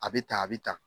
A bɛ ta a bɛ ta